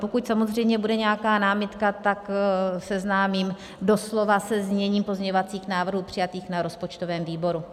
Pokud samozřejmě bude nějaká námitka, tak seznámím doslova se zněním pozměňovacích návrhů přijatých na rozpočtovém výboru.